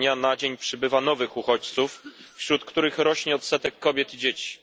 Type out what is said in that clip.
Z dnia na dzień przybywa nowych uchodźców, wśród których rośnie odsetek kobiet i dzieci.